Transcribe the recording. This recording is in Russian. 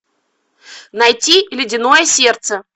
найти ледяное сердце